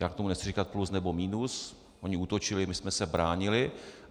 Já k tomu nechci říkat plus nebo minus, oni útočili, my jsme se bránili.